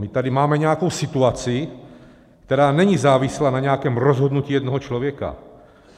My tady máme nějakou situaci, která není závislá na nějakém rozhodnutí jednoho člověka.